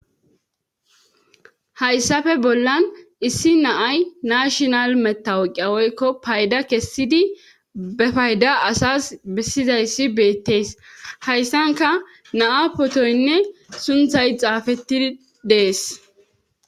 hayssape bollan issi naay nashinal metawoqawoykko payda kessidi be payda asas bessidayssi beettees hayssanka naa potoynne sunthay xaafettidi dees